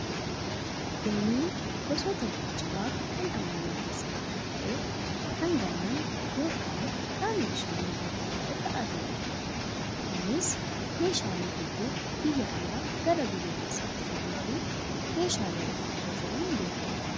Dooniin gosoota geejjibaa kan ammayyaa keessaa tokko ta'ee, kan galaana yookaan qaama bishaanii gurguddaa irra adeemuudha. Innis meeshaalee hedduu biyya alaa gara biyya keessaatti fe'uu fi meeshaalee ulfaatoo fe'uun beekama.